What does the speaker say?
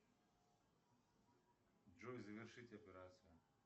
джой завершить операцию